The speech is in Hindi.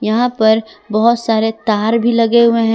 यहां पर बहुत सारे तार भी लगे हुए हैं।